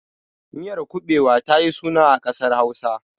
Miyar kuɓewa ta yi suna a ƙasar Hausa.